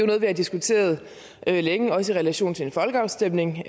noget vi har diskuteret længe også i relation til den folkeafstemning